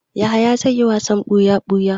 Yahaya zai yi wasan buya-buya.